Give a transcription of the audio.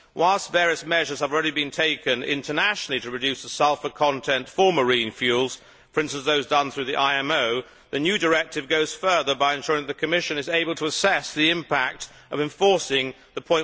Whilst various measures have already been taken internationally to reduce the sulphur content for marine fuels, for instance those done through the IMO, the new directive goes further by ensuring that the Commission is able to assess the impact of enforcing the